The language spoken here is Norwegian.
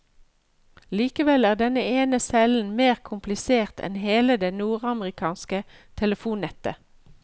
Likevel er denne ene cellen mer komplisert enn hele det nordamerikanske telefonnettet.